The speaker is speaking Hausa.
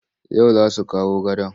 Yau za su kawo gadon.